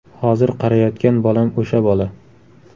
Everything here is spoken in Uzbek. Hozir qarayotgan bolam o‘sha bola.